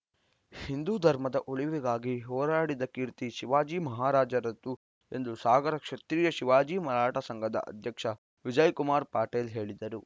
ಹಿಂದೂ ಧರ್ಮದ ಉಳಿವಿಗಾಗಿ ಹೋರಾಡಿದ ಕೀರ್ತಿ ಶಿವಾಜಿ ಮಹಾರಾಜರದ್ದು ಎಂದು ಸಾಗರ ಕ್ಷತ್ರೀಯ ಶಿವಾಜಿ ಮರಾಠ ಸಂಘದ ಅಧ್ಯಕ್ಷ ವಿಜಯ್‌ ಕುಮಾರ್‌ ಪಾಟೇಲ್‌ ಹೇಳಿದರು